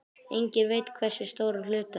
Enginn veit hversu stóran hluta.